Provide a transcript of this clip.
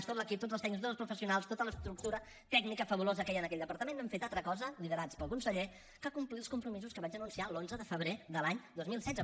tot l’equip tots els tècnics tots els professionals tota l’estructura tècnica fabulosa que hi ha en aquell departament no hem fet altra cosa liderats pel conseller que complir els compromisos que vaig anunciar l’onze de febrer de l’any dos mil setze